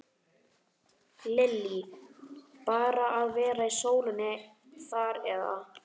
Lillý: Bara að vera í sólinni þar eða?